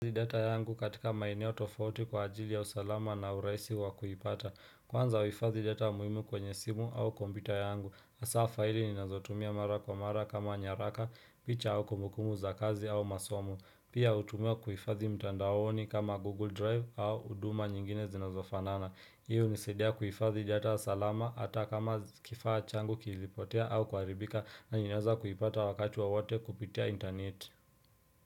Data yangu katika maeneo tofauti kwa ajili ya usalama na urahisi wa kuipata kwanza uifadhi data muhimu kwenye simu au kompyuta yangu hasa faili ninazo tumia mara kwa mara kama nyaraka picha au kumbukumbu za kazi au masomo pia hutumiwa kuifadhi mtandaoni kama google drive au huduma nyingine zinazofanana iyo unisaidia kuifadhi data salama hata kama kifaa changu kilipotea au ku haribika na ninaweza kuipata wakati wowote kupitia interneti.